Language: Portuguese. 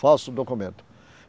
Falso o documento.